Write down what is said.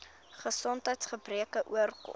gesondheids gebreke oorkom